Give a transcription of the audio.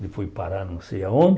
Ele foi parar não sei aonde.